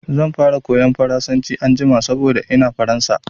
Zan fara koyan Faransanci anjima saboda ina Faransa.